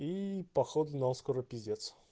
и походу нам скоро пиздец